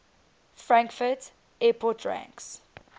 frankfurt airport ranks